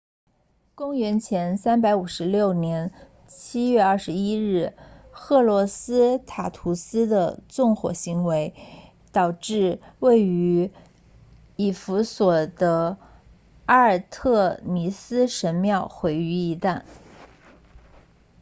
公元前356年7月21日赫洛斯塔图斯 herostratus 的纵火行为导致位于以弗所 ephesus 的阿尔忒弥斯神庙毁于一旦